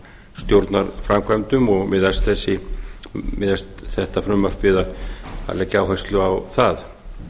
stjórnarframkvæmdum og miðast þetta frumvarp við að leggja áherslu á það